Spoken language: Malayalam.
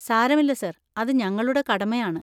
സാരമില്ല സർ, അത് ഞങ്ങളുടെ കടമയാണ്.